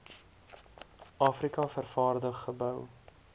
afrika vervaardig gebou